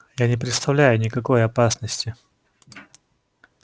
я не представляю никакой опасности